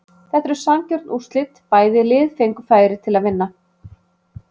Þetta eru sanngjörn úrslit, bæði lið fengu færi til að vinna